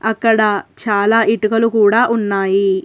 అక్కడ చాలా ఇటుకలు కూడా ఉన్నాయి.